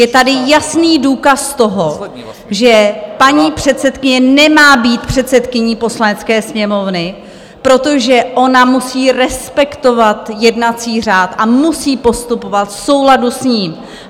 Je tady jasný důkaz toho, že paní předsedkyně nemá být předsedkyní Poslanecké sněmovny, protože ona musí respektovat jednací řád a musí postupovat v souladu s ním.